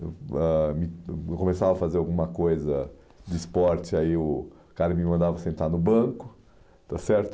ãh me Eu começava a fazer alguma coisa de esporte, aí o cara me mandava sentar no banco, está certo?